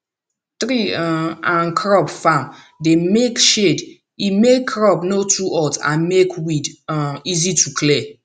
tree um and crop farm dey bring shade e make crop no too hot and make weed um easy to clear